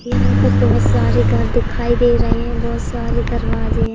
यहां पे बहोत सारे घर दिखाई दे रहे हैं बहोत सारे दरवाजे हैं।